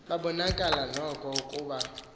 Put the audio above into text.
babonakala noko ukuba